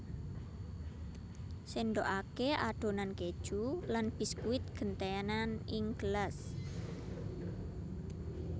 Sendhokake adonan keju lan biskuit gentenan ing gelas